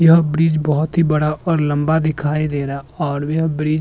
यह ब्रिज भोत ही बड़ा और लंबा दिखाई दे रहा और वेह ब्रिज --